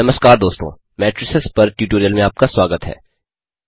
नमस्कार दोस्तों मेट्रिसेस पर ट्यूटोरियल में आपका स्वागत है